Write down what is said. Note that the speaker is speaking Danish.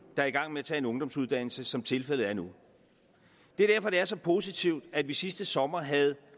er i gang med at tage en ungdomsuddannelse som tilfældet er nu det er derfor det er så positivt at vi sidste sommer havde